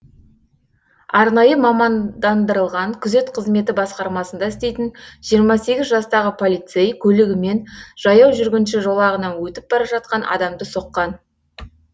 арнайы мамандандырылған күзет қызметі басқармасында істейтін жиырма сегіз жастағы полицей көлігімен жаяу жүргінші жолағынан өтіп бара жатқан адамды соққан